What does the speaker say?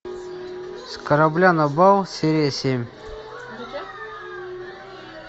с корабля на бал серия семь